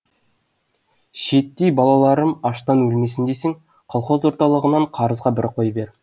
шиеттей балаларым аштан өлмесін десең колхоз орталығынан қарызға бір қой бер